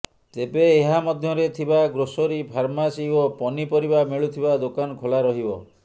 ତେବେ ଏହା ମଧ୍ୟରେ ଥିବା ଗ୍ରୋସରୀ ଫାର୍ମାସି ଓ ପନି ପରିବା ମିଳୁଥିବା ଦୋକାନ ଖୋଲା ରହିବ